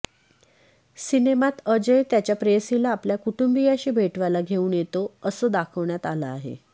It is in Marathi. सिनेमात अजय त्याच्या प्रेयसीला आपल्या कुटुंबियांशी भेटवायला घेऊन येतो असं दाखवण्यात आलं आहे